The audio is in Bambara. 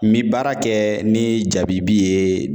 N bi baara kɛ ni jabibi ye